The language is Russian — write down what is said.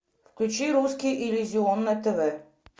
включи русский иллюзион на тв